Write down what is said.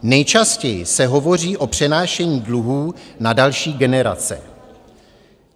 Nejčastěji se hovoří o přenášení dluhů na další generace.